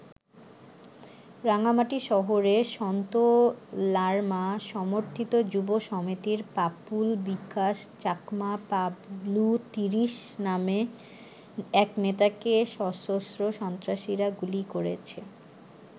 রাঙামাটি শহরে সন্তু লারমা সমর্থিত যুব সমিতির পাপুল বিকাশ চাকমা পাবলু ৩০ নামে এক নেতাকে সশস্ত্র সন্ত্রাসীরা গুলি করেছে।